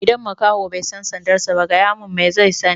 Idan makaho bai san sandar sa ba, gaya mun me zai sani?